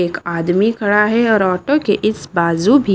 एक आदमी खड़ा है और ऑटो के इस बाजू भी--